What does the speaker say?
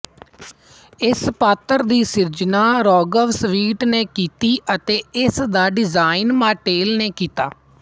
ਇਸ ਪਾਤਰ ਦੀ ਸਿਰਜਣਾ ਰੌਗਰ ਸਵੀਟ ਨੇ ਕੀਤੇ ਅਤੇ ਇਸ ਦਾ ਡਿਜ਼ਾਈਨ ਮਾਟੈਲ ਨੇ ਕੀਤਾ